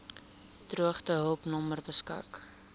droogtehulp nommer beskik